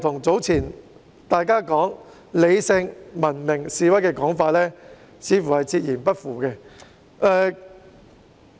這與大家早前"理性文明示威"的說法，似乎是背道而馳。